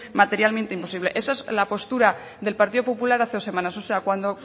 materialmente imposible esa es la postura del partido popular hace dos semanas o sea cuando